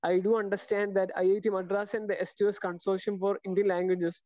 speaker 2 I do understand that IIT Madras in the എസ്റ്റു yes consortium for Indian languages